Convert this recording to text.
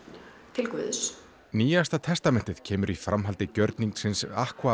til guðs nýjasta testamentið kemur í framhaldi gjörningsins